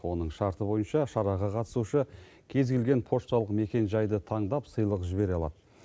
оның шарты бойынша шараға қатысушы кез келген пошталық мекен жайды таңдап сыйлық жібере алады